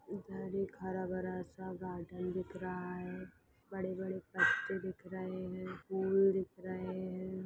उधर एक हर भरा सा गार्डन दिख रहा है बड़े-बड़े पत्ते दिख रहे हैं फूल दिख रहे हैं।